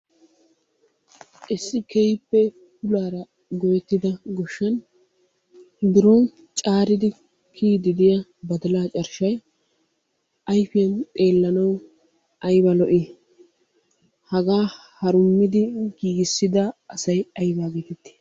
Issi keehippe puulaara goyeettidaa goshshaan biron caariidi kiyidi de'iya badalay carshshay ayfiyan xeellanawu ayba lo"i. Hagaa harummid giiggissda asay ayba geetetti?